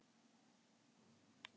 Lilla sá um það.